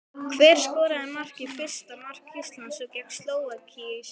Hver skoraði fyrsta mark Íslands gegn Slóvakíu í síðustu viku?